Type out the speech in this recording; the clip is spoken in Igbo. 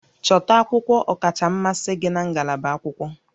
Chọta akwụkwọ ọkacha mmasị gị na ngalaba akwụkwọ